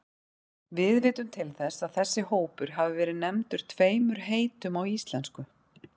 Við vitum til þess að þessi hópur hafi verið nefndur tveimur heitum á íslensku.